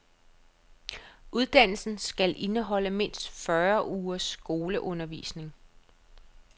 Uddannelsen skal indeholde mindst fyrre ugers skoleundervisning.